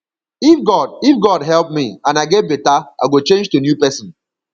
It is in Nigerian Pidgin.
if god if god help me and i get beta i go change to new person